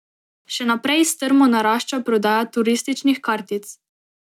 Še naprej strmo narašča prodaja turističnih kartic.